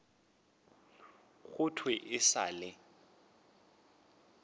go thwe e sa le